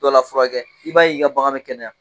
Dɔ la furakɛ i b'a y'i ka bagan bɛ kɛnɛya.